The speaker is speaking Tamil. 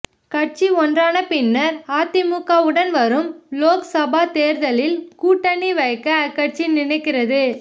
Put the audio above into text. கட்சி ஒன்றான பின்னர் அதிமுகவுடன் வரும் லோக்சபா தேர்தலில் கூட்டணி வைக்க அக்கட்சி நினைக்கிறது